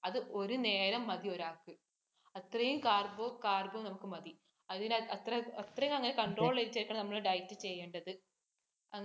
അത് ഒരു നേരം മതി ഒരാൾക്ക്. അത്രയും carbon carbo നമുക്ക് മതി. അതിനാൽ അത്രയും അങ്ങനെ control ചെയ്‌ത്‌ നമ്മൾ diet ചെയ്യേണ്ടത്.